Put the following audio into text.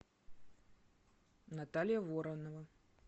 наталья воронова